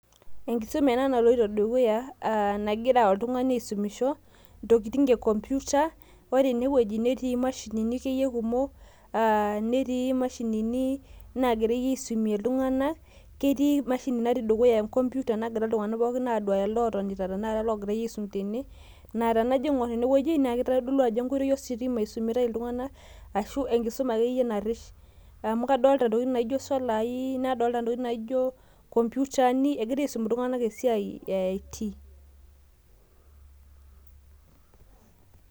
Enkisoma ena naloito dukuya nagira oltung'ani asumisho intokitin ekomputa ore ene neetii imashinini akeyie kumok netii imashini naagirai asumie iltung'anak ketii emashini natii dukuya naira iltung'anak pooki aduya naa tenajo aing'or naa kitodolu ajo enkoitoi ositima ena nagirai aitodol iltung'anak amu kadolta isolai, inkomputani egirai asum iltung'anak esiaai e IT.